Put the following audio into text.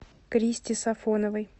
кристи сафоновой